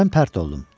Mən pərt oldum.